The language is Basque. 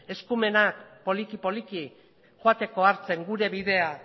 eskumenak poliki poliki joateko hartzen gure bidea